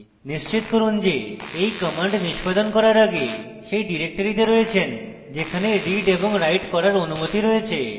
নিশ্চিত করুন যে এই commands নিস্পাদন করার আগে সেই ডিরেক্টরিতে আছেন যেখানে read এবং write করার অনুমতি রয়েছে